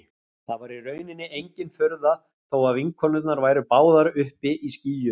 Það var í rauninni engin furða þó að vinkonurnar væru báðar uppi í skýjunum.